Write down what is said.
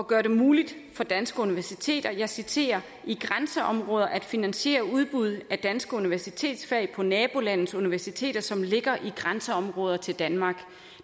gøre det muligt for danske universiteter og jeg citerer i grænseområder at finansiere udbuddet af danske universitetsfag på nabolandes universiteter som ligger i grænseområder til danmark